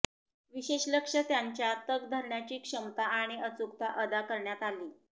विशेष लक्ष त्यांच्या तग धरण्याची क्षमता आणि अचूकता अदा करण्यात आली